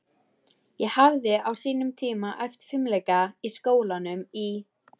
Ég hafði á sínum tíma æft fimleika í skólanum í